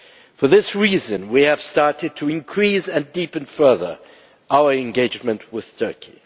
For this reason, we have started to increase and deepen further our engagement with Turkey.